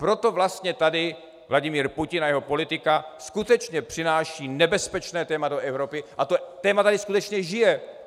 Proto vlastně tady Vladimir Putin a jeho politika skutečně přináší nebezpečné téma do Evropy a to téma tady skutečně žije.